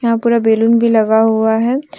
यहाँ पूरा बैलून भी लगा हुआ है।